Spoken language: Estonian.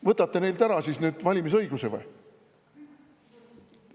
Võtate neilt siis nüüd valimisõiguse ära või?